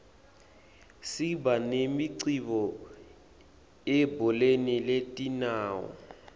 siba nemicimbi ebholeni letinyawo